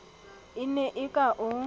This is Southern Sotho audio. a ne a ka o